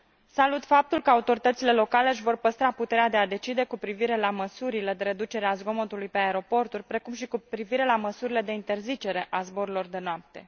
Salut faptul că autoritățile locale își vor păstra puterea de a decide cu privire la măsurile de reducere a zgomotului pe aeroporturi, precum și cu privire la măsurile de interzicere a zborurilor de noapte.